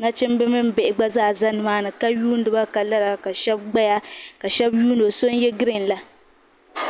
nachimba mini bihi gba zaa za nima ka yuuni ba ka lara ka shaba gbaya ka shaba yuuni o so n yɛ giriin la.